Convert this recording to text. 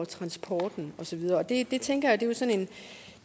transporten og så videre det tænker jeg